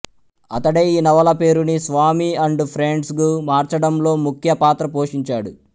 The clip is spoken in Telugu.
అతడే ఈ నవల పేరుని స్వామి అండ్ ఫ్రెండ్స్గా మార్చడంలో ముఖ్య పాత్ర పోషించాడు